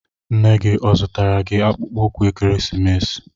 Nne gị ọ zụtara gi akpụkpọ ụkwụ ekeresimesi?